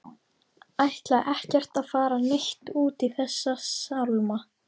Ætlaði ekkert að fara neitt út í þessa sálma.